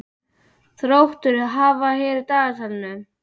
Þróttur, hvað er á dagatalinu í dag?